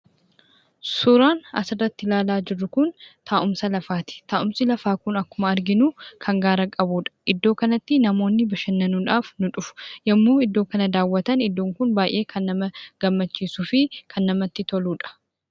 Suuraan asirratti ilaalaa jirru kun taa'umsa lafaati. Taa'umsi lafaa kun akkuma arginu kan gaara qabudha. Iddoo kanatti namoonni bashannanuu dhaaf ni dhufu. yemmuu Iddoon kana daawwatan kan baay'ee nama gammachiisuu fi kan namatti toludha.